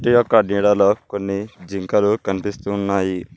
ఈ యొక్క కొన్ని జింకలు కనిపిస్తున్నాయి.